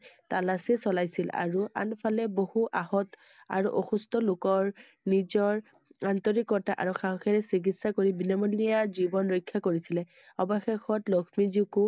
তালাচি চলাইছিল I আৰু আন ফালে বহুত আহত আৰু অসুস্থ লোকৰ নিজৰ আন্তৰিকতা আৰু সাহসেৰে চিকিৎসা কৰি বিনামূলীয়া জীৱন ৰক্ষা কৰিছিলে I অৱশেষত লক্ষ্মীজীকো